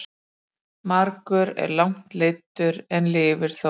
Margur er langt leiddur en lifir þó.